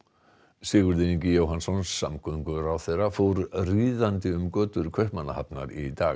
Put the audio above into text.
Sigurður Ingi Jóhannsson samgöngu og sveitastjórnarráðherra fór ríðandi um götur Kaupmannahafnar í dag